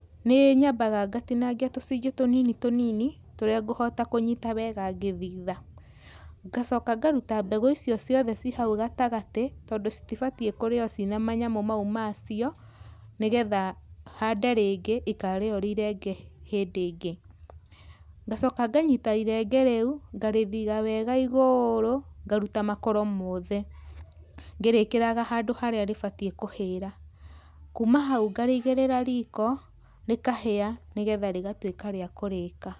Nĩ nyambaga ngatinangĩa tũcunje tũnini tũnini tũrĩa ngũhota kũnyita wega ngĩthitha. Ngacoka ngarũta mbegũ icio ciothe ci hau gatagatĩ tondũ cĩtĩbatie kũrĩo cina manyamũ mau macio, nĩgetha hande rĩngĩ ikarĩo rĩrĩ irenge hĩndĩ ĩngĩ. Ngacoka nganyita irenge rĩũ, ngarĩthitha wega igũrũ ngarũta makoro mothe, ngĩrĩkĩraga handũ harĩa rĩbatie kũhĩra. Kuma hau ngareĩgĩrira riko rĩkahia nĩgetha rĩgatũĩka rĩa kũrĩka.